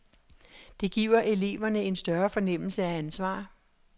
Det giver eleverne en større fornemmelse af ansvar.